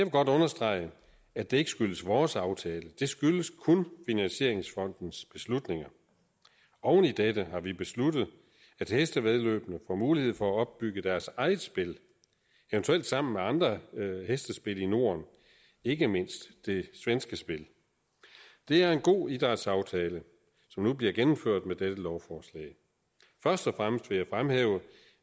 godt understrege at det ikke skyldes vores aftale det skyldes kun finansieringsfondens beslutninger oven i dette har vi besluttet at hestevæddeløbene får mulighed for at opbygge deres eget spil eventuelt sammen med andre hestespil i norden ikke mindst det svenske spil det er en god idrætsaftale som nu bliver gennemført med dette lovforslag først og fremmest vil jeg fremhæve